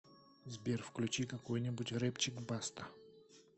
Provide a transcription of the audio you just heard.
сбер включи какой нибудь рэпчик баста